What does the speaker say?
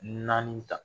Naani ta